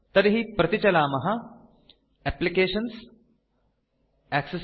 तर्हि प्रतिचलामः एप्लिकेशन्ग्टैक्सेस